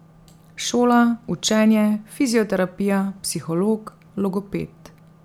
Šola, učenje, fizioterapija, psiholog, logoped ...